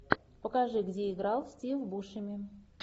покажи где играл стив бушеми